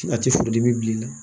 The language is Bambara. A tɛ furu dimi bilen na